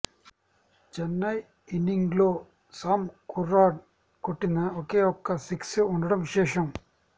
చెన్నై ఇన్నింగ్స్లో Sam Curran కొట్టిన ఒకే ఒక్క సిక్స్ ఉండడం విశేషం